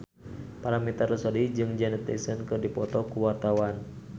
Paramitha Rusady jeung Janet Jackson keur dipoto ku wartawan